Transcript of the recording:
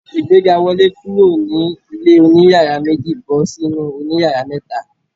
Ìgbéga! Wọlé kúrò ní ilé oní yàrá méjì bọ́ sí inú òní yàrá mẹ́ta.